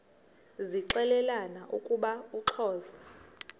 zixelelana ukuba uxhosa